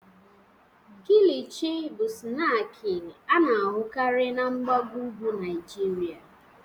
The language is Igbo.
Kilichi bụ snaakị a na-ahụkarị na mgbago ugwu Naịjirịa.